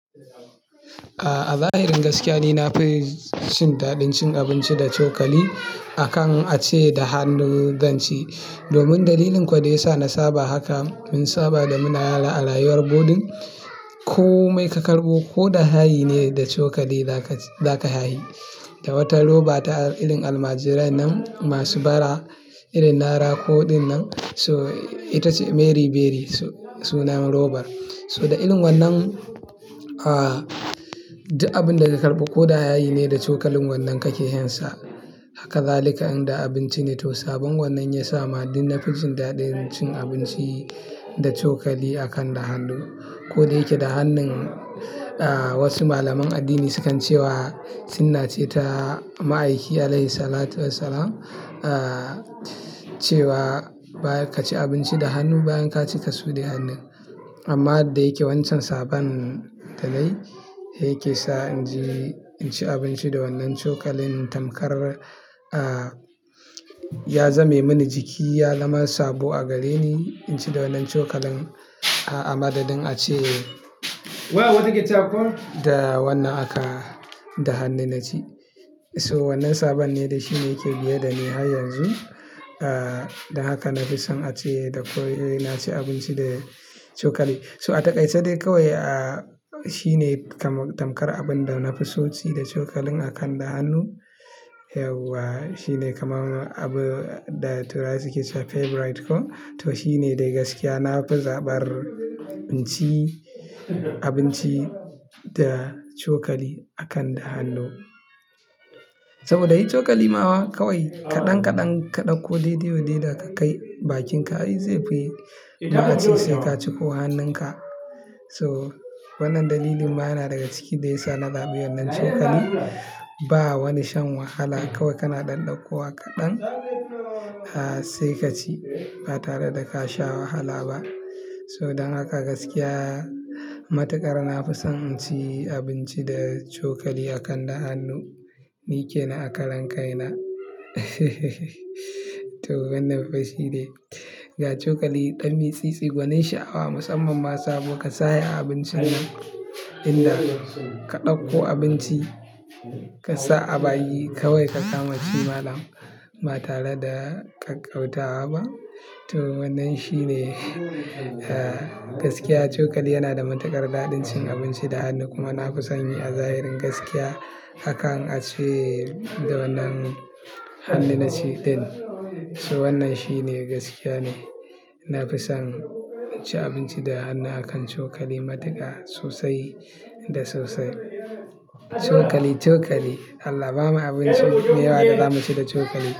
A zahirin gaskiya, ni na fi cin daɗin cin abinci da cokali akan a ci da hannun zanci. Domin dalilin kuwa da ya sa na saba haka, mun saba da muna yara a layuwar Bodin, ko mai ka karɓo ko da ha yi ne da cokali za ka, za ka ha yi. Da wata roba ta ilin almajirai nan masu bara, ilin nara koɗan nan. So ita ce Mary Berry sunan robar. So da ilin wannan, ah, duka abin da ka karɓo ko da ha yi ne da cokalin wannan kake yin sa. Hakazalika in da abinci ne. To sabon wannan ya sa ma, ni na fi cin daɗin cin abinci da cokali akan da hannu. Ko da yake da hannun, wasu malaman addini sukan cewa, sunna ce ta ma'aiki alaihi salatu wa salam,, cewa ba ka ci abinci da hannu bayan ka ci ka su da hannu. Amma da yake wancan sabon talai yake sa in ji, in ci abinci da wannan cokalin. Tamkar, ah, ya zame mini jiki. Ya zama sabo a gare ni, in ci da wannan cokalin a madadin a ci da wannan aka, da hannu na ci. So wannan sabon ne da shi ne yake biye da ni har yanzu., da haka na fi son a ci da, ko ina ci abinci da cokali. So a takaice dai kawai, ah, shi ne kama tamkar abin da na fi so ci da cokalin akan da hannu. Yauwa shi ne kamar abu da turai su ke cewa favorite ko. To shi ne dai gaskiya. Na fi zaɓar inci abinci da cokali akan da hannu. Saboda yi cokali ma wa kawai kaɗan kaɗan ka ɗauko dai dai wa dai da ka kai bakin ka, yi zafi. Da a ci sai ka ciko hannun ka. So wannan dalilin ma yana daga ciki da ya sa na so yin wannan cokali. Ba wani shan wahala kawai kana ɗanɗanƙowa kaɗan, ah, sai ka ci ba tare da ka sha wahala ba. So dan haka gaskiya, matuƙar na fi son inci abinci da cokali akan da hannu. Ni ke na a karen kai na. To wannan fa shi ne. Ga cokali, ɗan mitsi, gwanin sha'awa musamman ma sabo. Ka sa a abincin nan in da ka ɗauko abinci ka sa a bayi kawai ka kama ci malam ba tare da ka ƙaunata ba. To wannan shi ne, eh, gaskiya. Cokali yana da matuƙar daɗin cin abinci da hannu. Kuma na fi son yi a zahirin gaskiya akan a ci da wannan hannu na ci din. So wannan shi ne gaskiya ne. Na fi son ci abinci da hannu akan cokali matuƙa sosai da sosai. Cokali, cokali Allah ba mu abinci mai yawa da za mu ci da cokali.